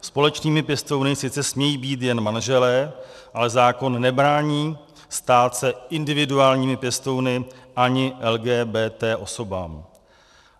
Společnými pěstouny sice smějí být jen manželé, ale zákon nebrání stát se individuálními pěstouny ani LGBT osobám.